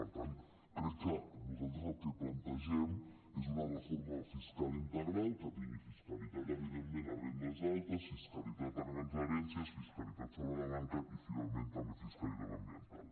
per tant crec que nosaltres el que plantegem és una reforma fiscal integral que tingui fiscalitat evidentment a rendes altes fiscalitat a grans herències fiscalitat sobre la banca i finalment també fiscalitat ambiental